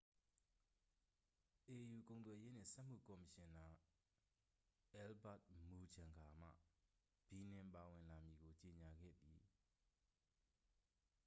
au ကုန်သွယ်ရေးနှင့် စက်မှု ကော်မရှင်နာ အယ်လ်ဘတ် မူချန်ဂါမှ ဘီနင်ပါဝင်လာမည်ကို ကြေငြာခဲ့သည်